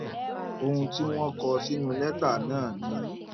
um ohun tí wọn kọ sínú lẹtà náà ni